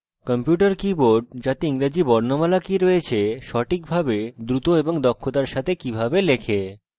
computer keyboard যাতে ইংরেজি বর্ণমালা কি রয়েছে সঠিকভাবে দ্রুত এবং দক্ষতার সাথে কিভাবে লেখে